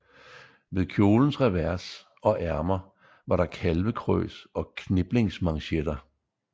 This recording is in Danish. Ved kjolens revers og ærmer var der kalvekrøs og kniplingsmanchetter